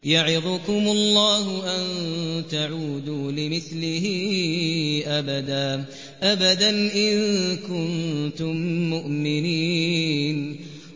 يَعِظُكُمُ اللَّهُ أَن تَعُودُوا لِمِثْلِهِ أَبَدًا إِن كُنتُم مُّؤْمِنِينَ